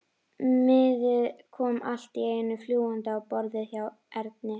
Miði kom allt í einu fljúgandi á borðið hjá Erni.